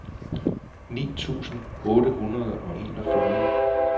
ni tusind otte hundrede og enogfyrre